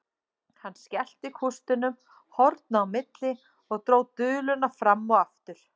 Hann skellti kústinum horna á milli og dró duluna fram og aftur.